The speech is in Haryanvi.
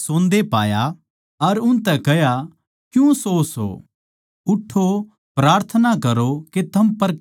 अर उनतै कह्या क्यूँ सोवों सों उठ्ठो प्रार्थना करो के थम परखे ना जाओ